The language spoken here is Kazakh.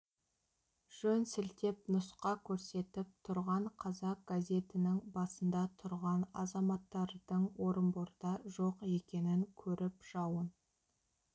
жөн сілтеп нұсқа көрсетіп тұрған қазақ газетінің басында тұрған азаматтардың орынборда жоқ екенін көріп жауын